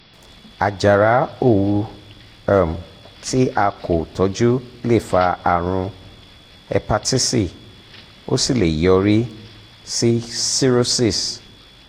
àjàrà òwú um tí a kò tọ́jú lè fa àrùn éèpatisí ó sì lè yọrí um sí cirrhosis